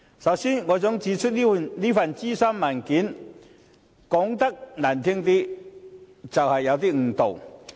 首先，我想指出，這份諮詢文件說得難聽一點就是有少許誤導。